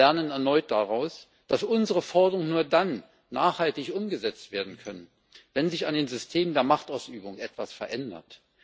Wir lernen erneut daraus, dass unsere Forderungen nur dann nachhaltig umgesetzt werden können, wenn sich an den Systemen der Machtausübung etwas verändert.